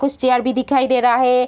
कुछ चेयर भी दिख रहा है।